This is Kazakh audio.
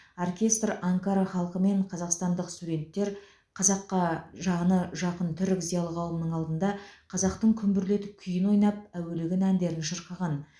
оркестр анкара халқы мен қазақстандық студенттер қазаққа жаны жақын түрік зиялы қауымының алдында қазақтың күмбірлетіп күйін ойнап әуелеген әндерін шырқаған